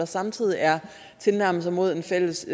samtidig er tilnærmelser mod en fælles